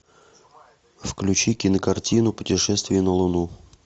включи кинокартину путешествие на луну